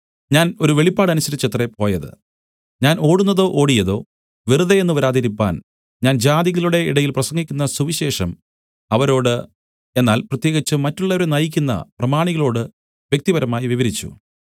ഞാൻ ഒരു വെളിപാട് അനുസരിച്ചത്രേ പോയത് ഞാൻ ഓടുന്നതോ ഓടിയതോ വെറുതെ എന്നു വരാതിരിപ്പാൻ ഞാൻ ജാതികളുടെ ഇടയിൽ പ്രസംഗിക്കുന്ന സുവിശേഷം അവരോട് എന്നാൽ പ്രത്യേകിച്ച് മറ്റുള്ളവരെ നയിക്കുന്ന പ്രമാണികളോട് വ്യക്തിപരമായി വിവരിച്ചു